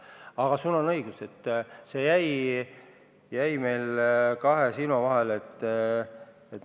Aga sul on õigus, et see jäi meil kahe silma vahele.